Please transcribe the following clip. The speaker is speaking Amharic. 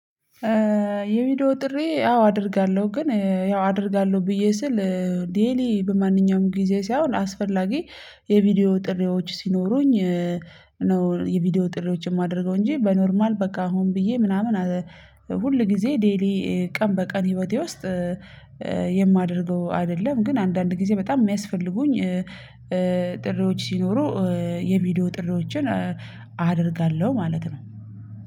የቪዲዮ ጥሪ አው አደርጋለሁ። ግን ያው አደርጋለሁ ብዬ ስል ዴይሊ በማንኛውም ጊዜ ሳይሆን አስፈላጊ የቪዲዮ ጥሪዎች ሲኖሩኝ ነው የቪዲዮ ጥሪዎች የማደርገው እንጂ በኖርማል በቃ ሆን ብዬ ምናምን ሁል ጊዜ ዴይሊ ቀን በቀን ህይወቴ ውስጥ አይደለም፤ ግን አንዳንድ ጊዜ በጣም የሚያስፈልጉኝ ጥሪዎች ሲኖሩ የቪዲዮ ጥሪዎችን አደርጋለሁ ማለት ነው።